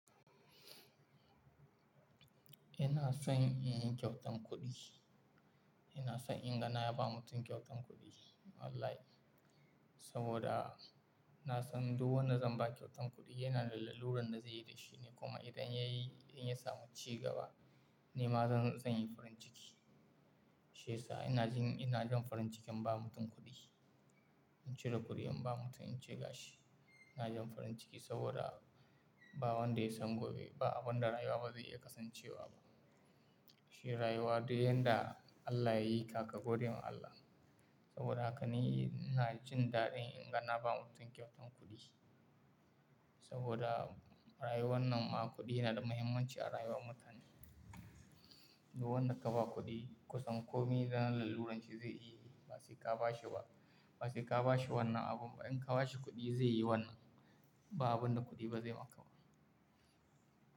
Ina son in yi kyautan kuɗi. Ina son in ga na ba mutum kyautan kuɗi wallahi saboda na san duk wanda zan ba kyautan kuɗi yana larura da zai yi da shi ne. Kuma idan ya yi, in ya samu ci gaba, ni ma zan, zan yi farin ciki. Shi yasa ina jin, ina jin farin ciki in ba mutum kuɗi. In cire kuɗi in ba mutum, in ce ga shi ina jin farin ciki saboda ba wanda ya san gobe ba abin da rayuwa ba zai iya kasancewa ba. Shi rayuwa dai yanda Allah ya yi kaka gode ma Allah saboda haka ni ina jin daɗin in ga na ba mutum kyautan kuɗi. Saboda rayuwar nan ma kuɗi yana da muhimmanci a rayuwar mutane. Duk wanda ka ba kuɗi kusan komi na laruran shi zai yi. Ba sai ka ba shi ba, ba sai ka ba shi wannan abun ba. In ka ba shi kuɗi zai yi wannan ba abin da kuɗi ba zai ma ka ba.